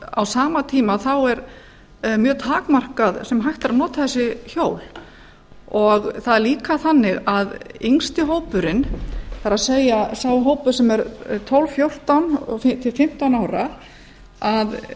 á sama tíma er mjög takmarkað sem hægt er að nota þessi hjól það er líka þannig að yngsti hópurinn það er sá hópur sem tólf til fimmtán ára á